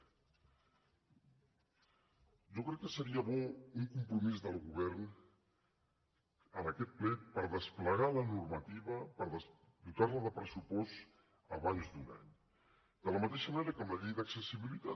jo crec que seria bo un compromís del govern en aquest ple per desplegar la normativa per dotar la de pressupost abans d’un any de la mateixa manera que amb la llei d’accessibilitat